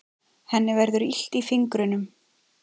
Henni verður illt í fingrunum.